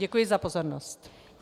Děkuji za pozornost.